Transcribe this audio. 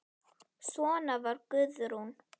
Svona var Guðrún.